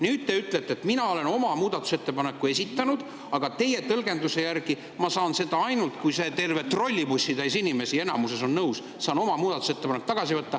Nüüd te ütlesite, et mina olen oma muudatusettepaneku esitanud, aga teie tõlgenduse järgi ma saan selle tagasi võtta ainult siis, kui enamik terve trollibussitäiest inimestest on nõus.